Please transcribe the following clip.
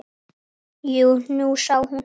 Jú, nú sá hún það.